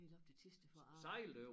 Helt op til Thisted for at arbejde